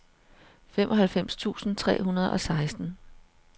halvfems tusind tre hundrede og seksten